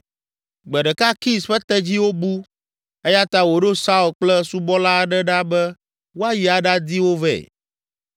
Gbe ɖeka Kis ƒe tedziwo bu eya ta wòɖo Saul kple subɔla aɖe ɖa be woayi aɖadi wo vɛ.